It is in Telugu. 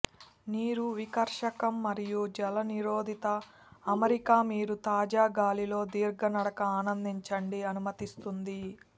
నీరు వికర్షకం మరియు జలనిరోధిత అమరిక మీరు తాజా గాలి లో దీర్ఘ నడక ఆనందించండి అనుమతిస్తుంది